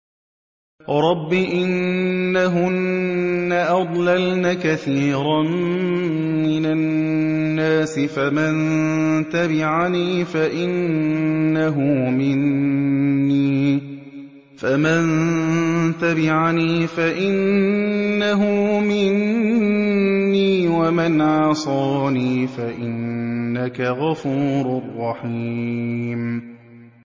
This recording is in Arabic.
رَبِّ إِنَّهُنَّ أَضْلَلْنَ كَثِيرًا مِّنَ النَّاسِ ۖ فَمَن تَبِعَنِي فَإِنَّهُ مِنِّي ۖ وَمَنْ عَصَانِي فَإِنَّكَ غَفُورٌ رَّحِيمٌ